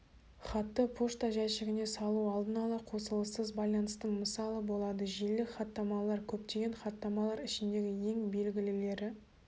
хатты пошта жәшігіне салу алдын-ала қосылыссыз байланыстың мысалы болады желілік хаттамалар көптеген хаттамалар ішіндегі ең белгілілері